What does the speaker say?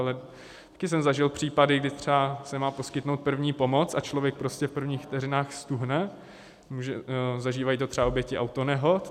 Ale taky jsem zažil případy, kdy třeba se má poskytnout první pomoc a člověk prostě v prvních vteřinách ztuhne, zažívají to třeba oběti autonehod.